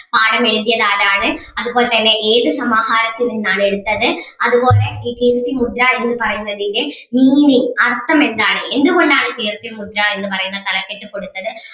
പാഠം എഴുതിയത് ആരാണ് അതുപോലെ തന്നെ ഏത് സമാഹാരത്തിൽ നിന്നാണ് എടുത്തത് അതുപോലെ ഈ കീർത്തിമുദ്ര എന്ന് പറയുന്നതിന്റെ meaning അർഥം എന്താണ് എന്തുകൊണ്ട് ആണ് കീർത്തിമുദ്ര എന്ന് പറയുന്ന തലക്കെട്ട് കൊടുത്തത്